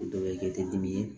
Dɔw bɛ kɛ tedimi ye